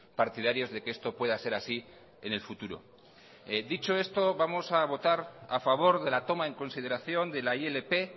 partidarios de que esto pueda ser así en el futuro dicho esto vamos a votar a favor de la toma en consideración de la ilp